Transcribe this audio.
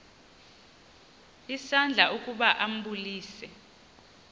isandla ukuba ambulise